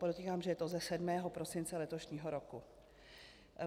Podotýkám, že je to ze 7. prosince letošního roku.